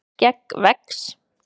skegg vex